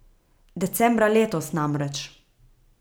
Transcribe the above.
Decembra letos, namreč.